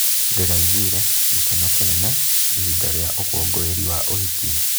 Ndĩraiguire gĩkeno kĩnene ihinda rĩa ũkũngũĩri wa ũhiki.